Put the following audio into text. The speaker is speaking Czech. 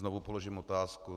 Znovu položím otázku.